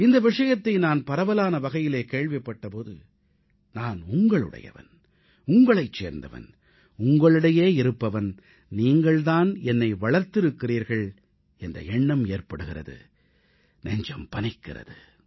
இந்த விஷயத்தை நான் பரவலான வகையிலே கேள்விப்பட்ட போது நான் உங்களுடையவன் உங்களைச் சேர்ந்தவன் உங்களிடையே இருப்பவன் நீங்கள் தான் என்னை வளர்த்திருக்கிறீர்கள் என்ற எண்ணம் ஏற்படுகிறது நெஞ்சம் பனிக்கிறது